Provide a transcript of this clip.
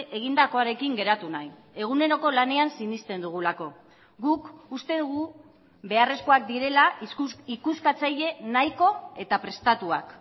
egindakoarekin geratu nahi eguneroko lanean sinesten dugulako guk uste dugu beharrezkoak direla ikuskatzaile nahiko eta prestatuak